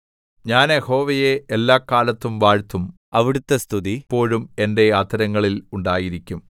ഞാൻ യഹോവയെ എല്ലാകാലത്തും വാഴ്ത്തും അവിടുത്തെ സ്തുതി എപ്പോഴും എന്റെ അധരങ്ങളിൽ ഉണ്ടായിരിക്കും